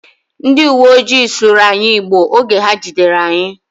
Ndi iwoojii sụrụ anyi Igbo oge ha jidere anyị